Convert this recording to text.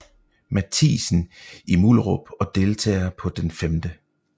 Mathiassen i Mullerup og deltager på den 5